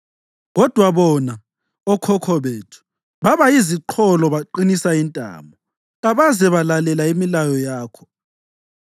Kodwa bona, okhokho bethu, baba yiziqholo baqinisa intamo, kabaze balalela imilayo yakho.